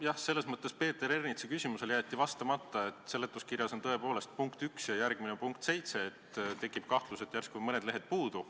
Jah, selles mõttes jäeti Peeter Ernitsa küsimusele vastamata, et seletuskirjas on tõepoolest punkt 1 ja järgmine on juba punkt 7, seega tekib kahtlus, et järsku on mõned lehed puudu.